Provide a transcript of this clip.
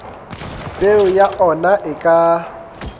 peo ya ona e ka